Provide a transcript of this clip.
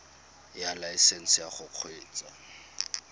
ya laesesnse ya go kgweetsa